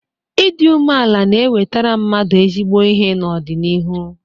Ịdị umeala na enwetara mmadụ ezigbo ihe n'ọdịnihu.